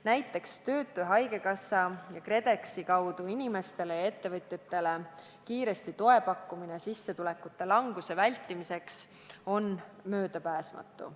Näiteks töötu- ja haigekassa ning KredExi kaudu inimestele-ettevõtetele kiiresti toe pakkumine sissetulekute languse vältimiseks on möödapääsmatu.